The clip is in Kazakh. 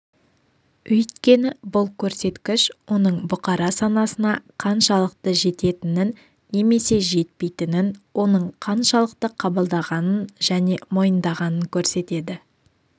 өйткені бұл көрсеткіш оның бұқара санасына қаншалықты жететінін немесе жетпейтінін оның қаншалықты қабылдағанын және мойындағанын көрсетеді